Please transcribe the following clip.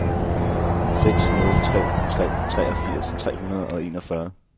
seks nul tre tre treogfirs tre hundrede og enogfyrre